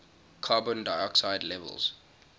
carbon dioxide levels